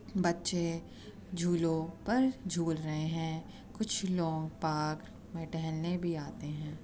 बच्चे झूलों पर झूल रहे हैं। कुछ लोग पाक्र में टहलने भी आते हैं।